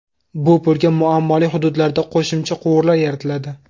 Bu pulga muammoli hududlarda qo‘shimcha quvurlar yaratiladi.